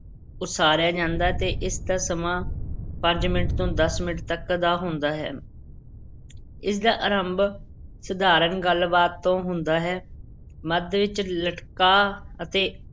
ਉਸਾਰਿਆ ਜਾਂਦਾ ਤੇ ਇਸ ਦਾ ਸਮਾਂ ਪੰਜ ਮਿੰਟ ਤੋਂ ਦਸ ਮਿੰਟ ਤੱਕ ਦਾ ਹੁੰਦਾ ਹੈ ਇਸ ਦਾ ਅਰੰਭ ਸਧਾਰਨ ਗੱਲ-ਬਾਤ ਤੋਂ ਹੁੰਦਾ ਹੈ, ਮੱਧ ਵਿੱਚ ਲਟਕਾਅ ਅਤੇ